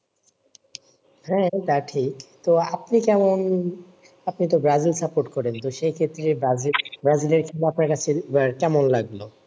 হ্যাঁ তা ঠিক তো আপনি কেমন আপনি তো ব্রাজিল support করেন সেই ক্ষেত্রে ব্রাজিল ব্রাজিলের আপনার কাছে বা কেমন লাগেও